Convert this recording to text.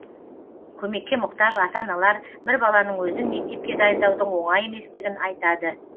көмекке мұқтаж ата аналар бір баланың өзін мектепке дайындаудың оңай еместігін айтады